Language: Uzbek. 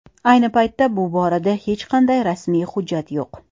Ayni paytda bu borada hech qanday rasmiy hujjat yo‘q.